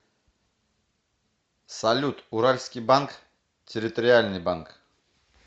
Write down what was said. салют уральский банк территориальный банк